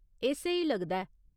एह् स्हेई लगदा ऐ।